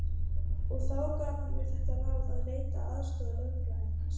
Og þá gaf hann mér þetta ráð að leita aðstoðar lögfræðings.